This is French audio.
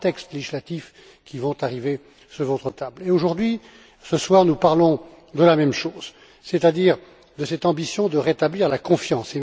Trois textes législatifs qui vont arriver sur votre table et, ce soir, nous parlons de la même chose, c'est à dire de cette ambition de rétablir la confiance.